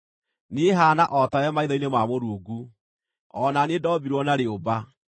Niĩ haana o tawe maitho-inĩ ma Mũrungu; o na niĩ ndombirwo na rĩũmba.